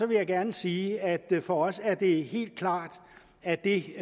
vil jeg gerne sige at for os er det helt klart at det